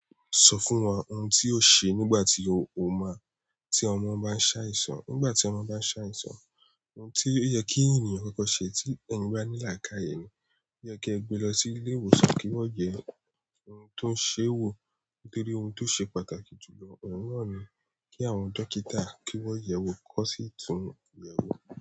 Sọ fún wa oun ti o ṣe nígbà tí ọmọ bá ń ṣe àìsàn? Nígbàtí ọmọ bá ṣàìsàn oun ti ó yẹ kí ènìyàn kọ́kọ́ ṣe tí ènìyàn bá ní lakai ni oye kí ẹ gbé lọ sí ilé ìwòsàn kí wọ́n yẹ ẹ, ohun tó ń ṣe é wò nítorí ohun tó ṣe pàtàkì jù lọ ọ̀un na ni kí àwọn dókítà kí wọ́n yẹ̀ wò kó sì tún yẹ̀ wò.